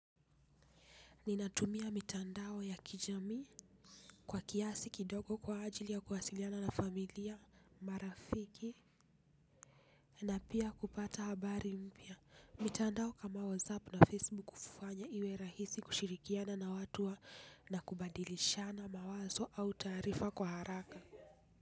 Ninatumia mitandao ya kijamii kwa kiasi kidogo kwa ajili ya kuwasiliana na familia, marafiki na pia kupata habari mpya. Mitandao kama WhatsApp na Facebook hufanya iwe rahisi kushirikiana na watu na kubadilishana mawazo au taarifa kwa haraka.